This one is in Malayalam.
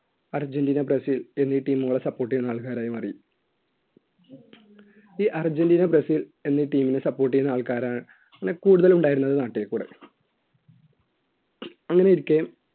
അർജൻറീന ബ്രസീൽ എന്നീ team കളെ support ചെയ്യുന്ന ആൾക്കാരായി മാറി ഈ അർജൻറീന ബ്രസീൽ എന്നീ team നെ support ചെയ്യുന്ന ആൾക്കാരാണ് കൂടുതൽ ഉണ്ടായിരുന്നത് നാട്ടിൽ അങ്ങനെയിരിക്കെ